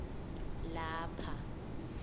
lapha